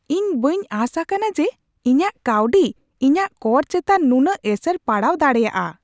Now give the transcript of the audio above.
ᱤᱧ ᱵᱟᱹᱧ ᱟᱥ ᱟᱠᱟᱱᱟ ᱡᱮ ᱤᱧᱟᱹᱜ ᱠᱟᱹᱣᱰᱤ ᱤᱧᱟᱜ ᱠᱚᱨ ᱪᱮᱛᱟᱱ ᱱᱩᱱᱟᱹᱜ ᱮᱥᱮᱨ ᱯᱟᱲᱟᱣ ᱫᱟᱲᱮᱭᱟᱜᱼᱟ ᱾